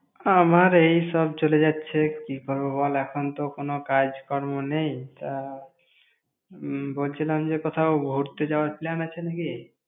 আমার এইসব চলে যাচ্ছে। কি করব বল! এখন তো কোনো কাজকর্ম নেই তা উম বলছিলাম যে, কোথাও ঘুরতে যাওয়ার plan আছে নাকি?